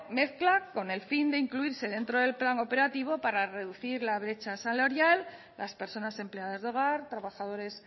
mezcla con el fin de incluirse dentro del plan operativo para reducir la brecha salarial las personas empleadas de hogar trabajadores